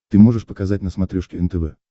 ты можешь показать на смотрешке нтв